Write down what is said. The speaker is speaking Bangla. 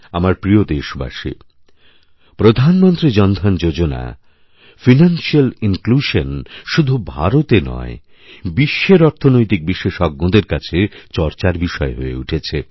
আমার প্রিয়দেশবাসী প্রধানমন্ত্রী জনধন যোজনা ফাইনান্সিয়াল ইনক্লুশন শুধু ভারতনয় বিশ্বের অর্থনৈতিক বিশেষজ্ঞদের কাছে চর্চার বিষয় হয়ে উঠেছে